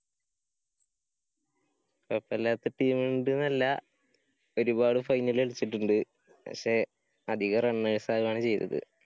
കൊഴപ്പല്ലാത്ത team ണ്ട് നല്ല. ഒരുപാട് final കളിച്ചിട്ടിണ്ട്. പക്ഷേ അധികം runners ആവാണ് ചെയ്തത്.